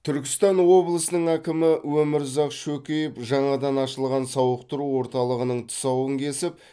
түркістан облысының әкімі өмірзақ шөкеев жаңадан ашылған сауықтыру орталығының тұсауын кесіп